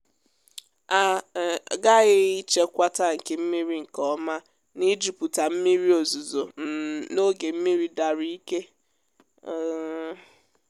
a um ghaghị ichekwa tankị mmiri nkèọ́má n’ịjupụta mmiri ozuzo um n’oge mmiri dara ike. um